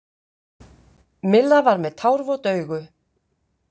Milla var með tárvot augu.